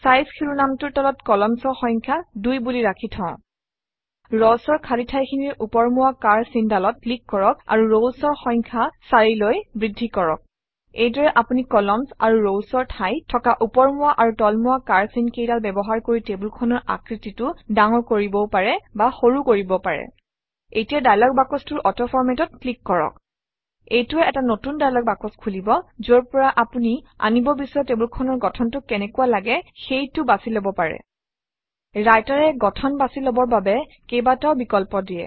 size শিৰোনামটোৰ তলত columns অৰ সংখ্যা 2 বুলি ৰাখি থওঁ Rows অৰ খালী ঠাইখিনিৰ ওপৰমুৱা কাঁড় চিনডালত ক্লিক কৰক আৰু Rows অৰ সংখ্যা 4 লৈ বৃদ্ধি কৰক এইদৰে আপুনি কলাম্নছ আৰু rows অৰ ঠাইত থকা ওপৰমুৱা আৰু তলমুৱা কাড় চিন কেইডাল ব্যৱহাৰ কৰি টেবুলখনৰ আকৃতিটো ডাঙৰ কৰিবও পাৰে বা সৰু কৰিবও পাৰে এতিয়া দায়লগ বাকচটোৰ অটো Format অত ক্লিক কৰক এইটোৱে এটা নতুন দায়লগ বাকচ খুলিব যৰ পৰা আপুনি আনিব বিচৰা টেবুলখনৰ গঠনটো কেনেকুৱা লাগে সেইটো বাছি লব পাৰে Writer এ গঠন বাছি লবৰ বাবে কেইবাটাও বিকল্প দিয়ে